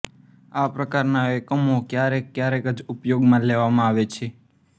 આ પ્રકારના એકમો ક્યારેક ક્યારેક જ ઉપયોગમાં લેવામાં આવે છે